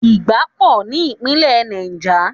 Ìgbá pò ní Ìpínlẹ̀ Niger.